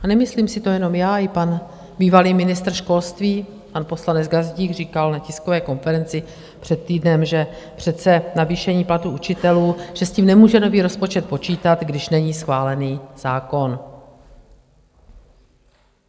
A nemyslím si to jenom já, i pan bývalý ministr školství, pan poslanec Gazdík, říkal na tiskové konferenci před týdnem, že přece navýšení platů učitelů, že s tím nemůže nový rozpočet počítat, když není schválen zákon.